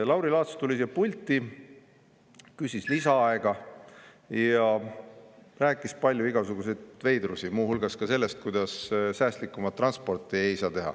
Lauri Laats tuli siia pulti, küsis lisaaega ja rääkis palju igasuguseid veidrusi, muu hulgas sellest, kuidas säästlikumat transporti ei saa teha.